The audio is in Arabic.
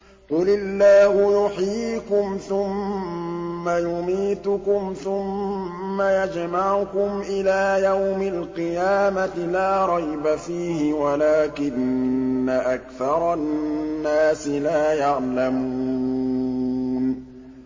قُلِ اللَّهُ يُحْيِيكُمْ ثُمَّ يُمِيتُكُمْ ثُمَّ يَجْمَعُكُمْ إِلَىٰ يَوْمِ الْقِيَامَةِ لَا رَيْبَ فِيهِ وَلَٰكِنَّ أَكْثَرَ النَّاسِ لَا يَعْلَمُونَ